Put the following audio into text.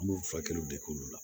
An b'u furakɛliw de k'olu la